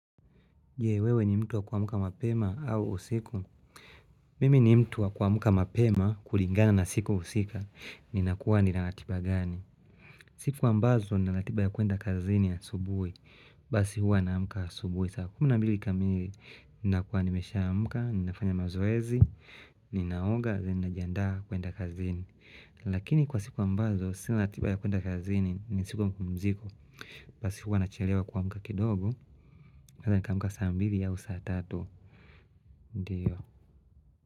Je, wewe ni mtu wa kuamka mapema au usiku? Mimi ni mtu wa kuamka mapema kulingana na siku husika. Ninakuwa ninaratiba gani? Siku ambazo ninaratiba ya kuenda kazini asubuhi. Basi huwa naamka asubuhi saa kumi na mbili kamili. Nakuwa nimeshaamka, ninafanya mazoezi, ninaoga, then najiandaa kuenda kazini. Lakini kwa siku ambazo, sina ratiba ya kuenda kazini ni siku ya mpumziko. Basi huwa nachelewa kuamka kidogo. Hata nikaamka saa mbili au saa tatu, ndio.